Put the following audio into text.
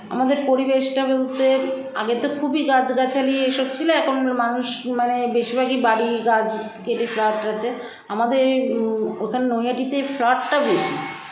আমাদের পরিবেশটা বলতে আগে তো খুবই গাছগাছালি এসব ছিল এখন মানুষ মানে বেশিরভাগই বাড়ি গাছ কেটে flat হচ্ছে আমাদের ওখানে নৈহাটিতে flat -টা বেশি